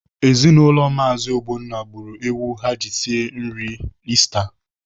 Ezinaụlọ Maazi Ogbonna gburu ewu ha ji sie nri Ista.